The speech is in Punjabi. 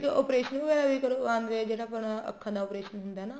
operation ਵਗੈਰਾ ਵੀ ਕਰਵਾਉਣ ਗਏ ਜਿਹੜਾ ਆਪਣਾ ਅੱਖਾ ਦਾ operation ਹੁੰਦਾ ਹੈ ਨਾ